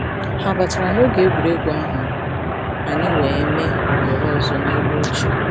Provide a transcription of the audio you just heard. Ha batara noge egwuregwu ahụ, anyị wee mee ohere ọzọ nelu oche.